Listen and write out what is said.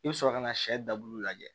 I bɛ sɔrɔ ka na sɛ dabulu lajɛ